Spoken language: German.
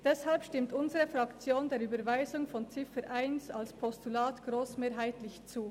Deshalb stimmt unsere Fraktion der Überweisung von Ziffer 1 als Postulat grossmehrheitlich zu.